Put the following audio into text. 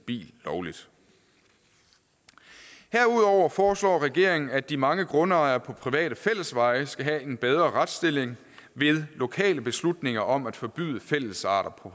bil lovligt herudover foreslår regeringen at de mange grundejere på private fællesveje skal have en bedre retsstilling ved lokale beslutninger om at forbyde færdselsarter på